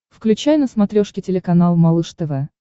включай на смотрешке телеканал малыш тв